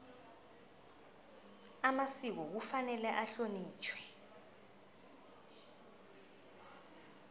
amasiko kufanele ahlonitjhwe